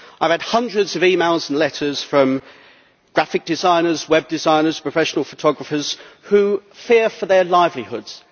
I have had hundreds of emails and letters from graphic designers, Web designers, professional photographers, who fear for their livelihoods.